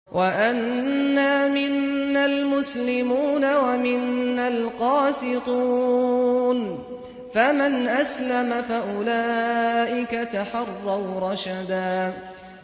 وَأَنَّا مِنَّا الْمُسْلِمُونَ وَمِنَّا الْقَاسِطُونَ ۖ فَمَنْ أَسْلَمَ فَأُولَٰئِكَ تَحَرَّوْا رَشَدًا